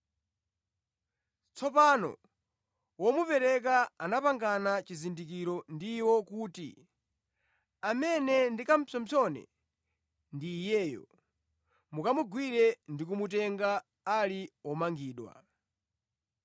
Tsopano womupereka anapangana chizindikiro ndi iwo kuti: “Amene ndikapsompsone ndi iyeyo; mukamugwire ndi kumutenga ali womangidwa.”